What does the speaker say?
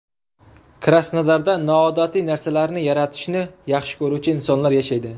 Krasnodarda noodatiy narsalarni yaratishni yaxshi ko‘ruvchi insonlar yashaydi.